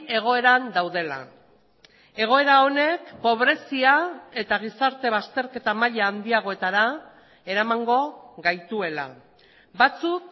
egoeran daudela egoera honek pobrezia eta gizarte bazterketa maila handiagoetara eramango gaituela batzuk